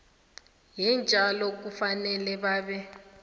yeentjalo kufanele babe